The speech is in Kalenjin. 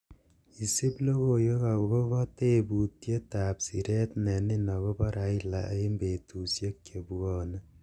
isip logoiwek agopo tebutiet ab sireet nenin agopo raila en betusiek chebwone